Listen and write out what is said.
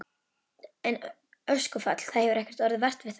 En öskufall, það hefur ekkert orðið vart við það?